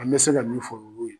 An bɛ se ka min fɔ olu ye.